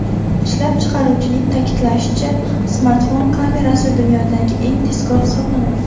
Ishlab chiqaruvchining ta’kidlashicha, smartfon kamerasi dunyodagi eng tezkor hisoblanadi.